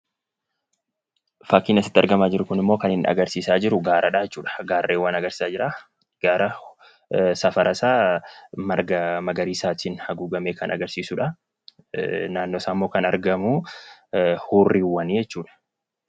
Fakkiin asitti argamaa jiruu kun immoo kan inni argisisaa jiruu gaaradha jechuudha. Garreewwan argisisaa jira. Gaara safara isaa margaa magarisatiin agugamee kan agarsisudha. Naannoo isa immoo kan argamu hurriwaani jechuudha.